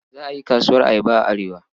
Za a yi kasuwar ayaba a Arewa.